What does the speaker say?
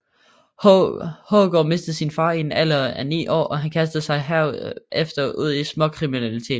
Haggard mistede sin far i en alder af ni år og han kastede sig herefter ud i småkriminalitet